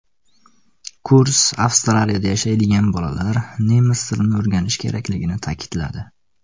Kurs Avstriyada yashaydigan bolalar nemis tilini o‘rganishi kerakligini ta’kidladi.